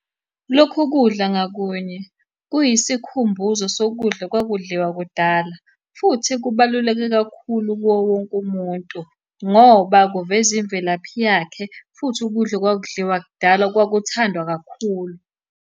Lokhu kudla ngakunye kuyisikhumbuzo sokudla okwakudliwa kudala, futhi kubaluleke kakhulu kuwo wonke umuntu, ngoba kuveza imvelaphi yakhe, futhi ukudla okwakudliwa kudala okwakuthandwa kakhulu.